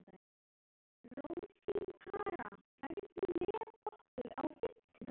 Rósinkara, ferð þú með okkur á fimmtudaginn?